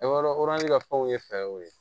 ka fɛnw ye fɛw ye